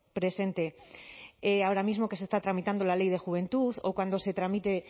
presente ahora mismo que se está tramitando la ley de juventud o cuando se tramite